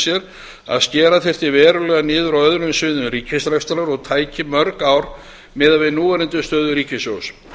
sér að skera þyrfti verulega niður á öðrum sviðum ríkisrekstrar og tæki mörg ár miðað við núverandi stöðu ríkissjóðs